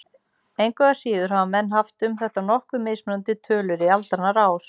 Engu að síður hafa menn haft um þetta nokkuð mismunandi tölur í aldanna rás.